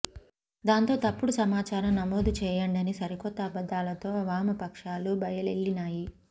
దాంతో తప్పుడు సమాచారం నమోదు చేయండని సరికొత్త అబద్ధాలతో వామపక్షాలు బయలెల్లినాయి